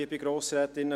Besten Dank.